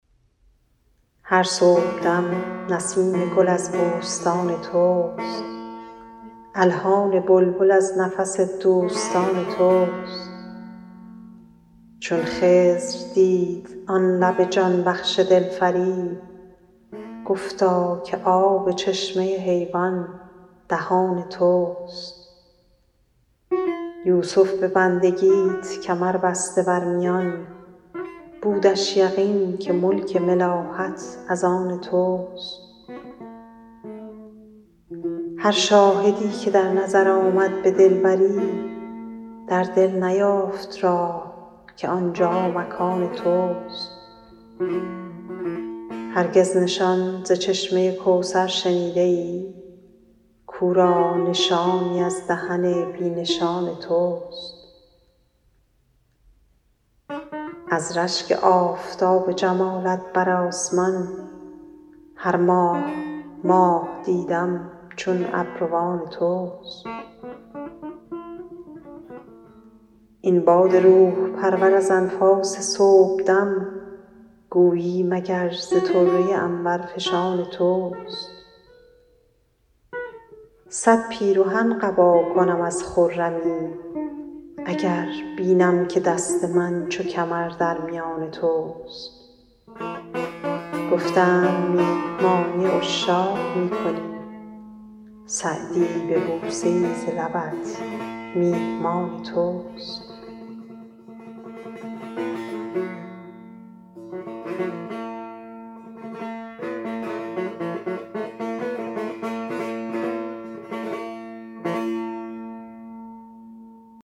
هر صبحدم نسیم گل از بوستان توست الحان بلبل از نفس دوستان توست چون خضر دید آن لب جان بخش دلفریب گفتا که آب چشمه حیوان دهان توست یوسف به بندگیت کمر بسته بر میان بودش یقین که ملک ملاحت از آن توست هر شاهدی که در نظر آمد به دلبری در دل نیافت راه که آنجا مکان توست هرگز نشان ز چشمه کوثر شنیده ای کاو را نشانی از دهن بی نشان توست از رشک آفتاب جمالت بر آسمان هر ماه ماه دیدم چون ابروان توست این باد روح پرور از انفاس صبحدم گویی مگر ز طره عنبرفشان توست صد پیرهن قبا کنم از خرمی اگر بینم که دست من چو کمر در میان توست گفتند میهمانی عشاق می کنی سعدی به بوسه ای ز لبت میهمان توست